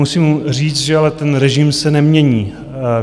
Musím říct, že ale ten režim se nemění.